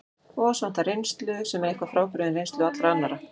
Og oss vantar reynslu, sem er eitthvað frábrugðin reynslu allra annarra.